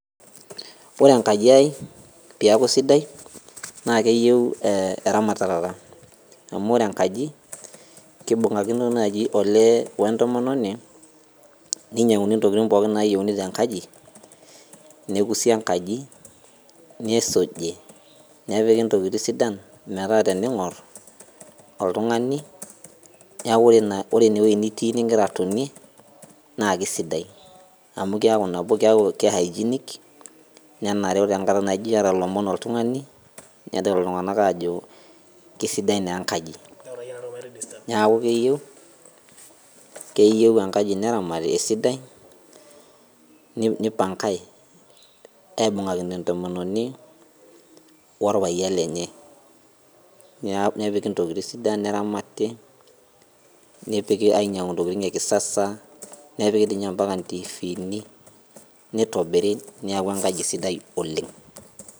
Ore enkaji ai peeku sidai, naa keyieu eramatata. Amu ore enkaji, kibung'akino naji olee wentomononi, ninyang'uni ntokiting pookin nayieuni tenkaji, nekusi enkaji, nisuji, nepiki intokiting sidan metaa tening'or oltung'ani, neeku ore inewoi nitii nigira atonie, naa kesidai. Amu keeku nabo ke hygienic, nenarau enkata naijo iyata lomon oltung'ani, nedol iltung'anak ajo kesidai naa enkaji. Neeku keyieu, keyieu enkaji neramati esidai, nipangai, aibung'akino entomononi orpayian lenye. Nepiki ntokiting sidan, neramati, nepiki ainyang'u intokiting ekisasa, nepiki dinye ampaka ntiifini, nitobiri neeku enkaji sidai oleng.